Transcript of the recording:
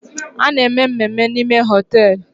A na-eme mmemme n'ime hoteelu